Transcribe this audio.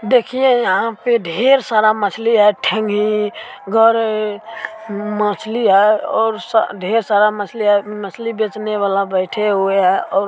देखिये यहाँ पे ढ़ेर सारा मछली है। ठेंगही गरई उम्म मछली है और स ढ़ेर सारा मछली है। मछली बेचने वाला बैठे हुए है और --